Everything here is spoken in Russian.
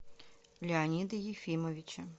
леонида ефимовича